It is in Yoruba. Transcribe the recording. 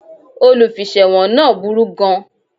Olùfiṣẹ̀wọ̀n náà burú gan